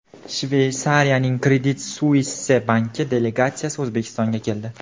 Shveysariyaning Credit Suisse banki delegatsiyasi O‘zbekistonga keldi.